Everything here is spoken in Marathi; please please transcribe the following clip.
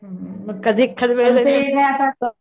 हुं कधी ठरवल